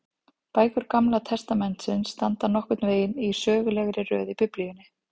Bækur Gamla testamentisins standa nokkurn veginn í sögulegri röð í Biblíunni.